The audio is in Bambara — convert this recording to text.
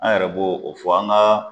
An yɛrɛ bo o fɔ an ka